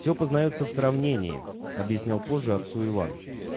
все познаётся в сравнении объяснял позже отцу иван